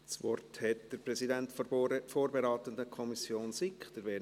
Das Wort hat der Präsident der vorberatenden Kommission SiK, Werner Moser.